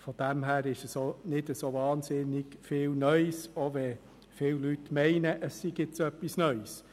Deshalb ist es nicht so wahnsinnig viel Neues, selbst wenn viele Leute meinen, es sei etwas Neues.